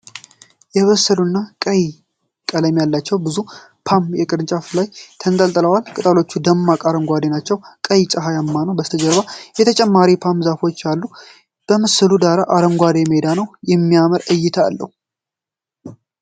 የበሰሉና ቀይ ቀለም ያላቸው ብዙ ፖም በቅርንጫፍ ላይ ተንጠልጥለዋል። ቅጠሎቹ ደማቅ አረንጓዴ ናቸው፣ ቀኑ ፀሐያማ ነው። ከበስተጀርባ ተጨማሪ ፖም በዛፎች ላይ አሉ። የምስሉ ዳራ አረንጓዴ ሜዳ ነው። የሚያምር እይታ አለው።